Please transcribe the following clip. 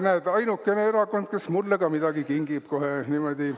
Näed, ainukene erakond, kes mulle ka midagi kingib kohe niimoodi.